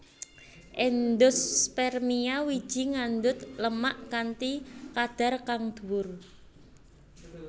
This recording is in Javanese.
Endospermia wiji ngandhut lemak kanthi kadhar kang dhuwur